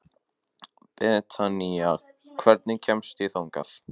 Betanía, hvernig kemst ég þangað?